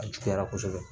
A juguyara kosɛbɛ